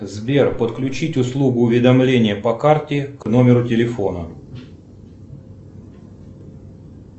сбер подключить услугу уведомления по карте к номеру телефона